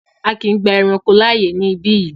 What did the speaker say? A kíì gba ẹranko láàyè ní ibí yìí!